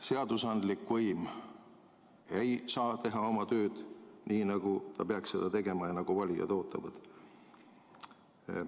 Seadusandlik võim ei saa teha oma tööd nii, nagu ta peaks seda tegema ja nagu valijad ootavad.